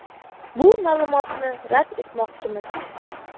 Bu ma’lumotni rad etmoqchimiz.